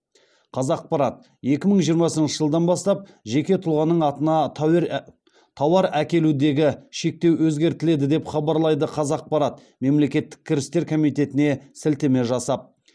қазақпарат екі мың жиырмасыншы жылдан бастап жеке тұлғаның атына тауар әкелудегі шектеу өзгертіледі деп хабарлайды қазақпарат мемлекеттік кірістер комитетіне сілтеме жасап